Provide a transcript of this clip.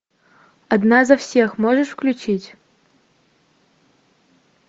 одна за всех можешь включить